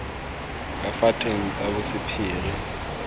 ka fa teng tsa bosephiri